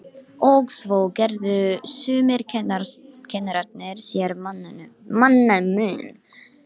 Og svo gerðu sumir kennararnir sér mannamun.